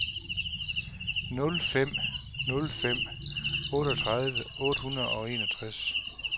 nul fem nul fem otteogtredive otte hundrede og enogtres